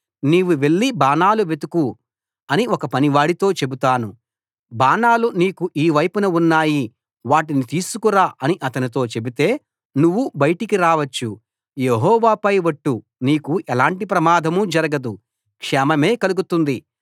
నీవు వెళ్లి బాణాలు వెతుకు అని ఒక పనివాడితో చెబుతాను బాణాలు నీకు ఈ వైపున ఉన్నాయి వాటిని తీసుకురా అని అతనితో చెబితే నువ్వు బయటికి రావచ్చు యెహోవాపై ఒట్టు నీకు ఎలాంటి ప్రమాదం జరగదు క్షేమమే కలుతుంది